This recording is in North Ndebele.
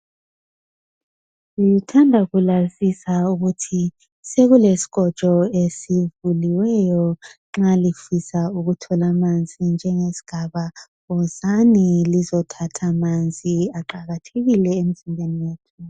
Ngithanda kulazisa ukuthi kulesikhotsho esivuliweyo nxa lifusa ukuthola amannjengesigaba . Wozani lizotjatha amanzi aqakhathekile imphilo.